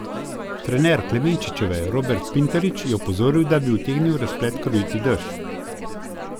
Trener Klemenčičeve Robert Pintarič je opozoril, da bi utegnil razplet krojiti dež.